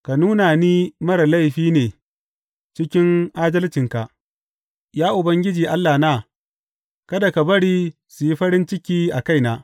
Ka nuna ni marar laifi ne ciki adalcinka, Ya Ubangiji Allahna; kada ka bari su yi farin ciki a kaina.